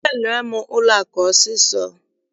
Sụpeere m ụlọakụ ọsọọsọ!